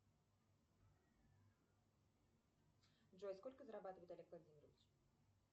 джой сколько зарабатывает олег владимирович